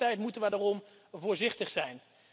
Tegelijkertijd moeten we daarom voorzichtig zijn.